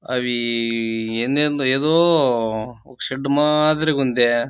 అవి ఎందేదో ఏదో ఒక షెడ్ మాదిరిగా ఉందే.